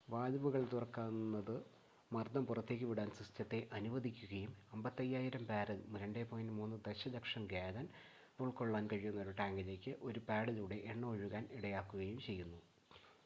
വാൽവുകൾ തുറക്കുന്നത് മർദ്ദം പുറത്തേക്ക് വിടാൻ സിസ്റ്റത്തെ അനുവദിക്കുകയും 55,000 ബാരൽ 2.3 ദശലക്ഷം ഗാലൻ ഉള്‍ക്കൊള്ളാൻ കഴിയുന്ന ഒരു ടാങ്കിലേക്ക് ഒരു പാഡിലൂടെ എണ്ണ ഒഴുകാൻ ഇടയാക്കുകയും ചെയ്തു